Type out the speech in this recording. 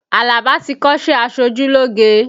Alaba ti kọ́sẹ́ aṣojúlógé